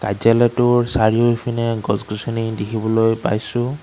কাৰ্য্যালয়টোৰ চাৰিওফিনে গছ-গছনি দেখিবলৈ পাইছোঁ।